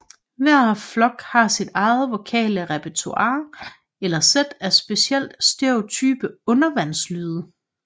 Hver flok har sit eget vokale repertoire eller sæt af specielt stereotype undervandslyde